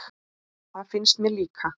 Það finnst mér líka.